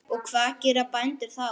Og hvað gera bændur þá?